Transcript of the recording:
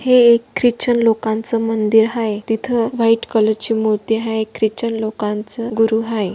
हे एक क्रिश्चन लोकाच मंदिर हाय तिथ व्हाइट कलरची मूर्ति हाय क्रिश्चन लोकाच गुरु हाय--